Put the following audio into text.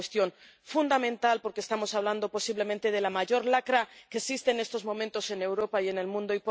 Es una cuestión fundamental, porque estamos hablando posiblemente de la mayor lacra que existe en estos momentos en Europa y en el mundo.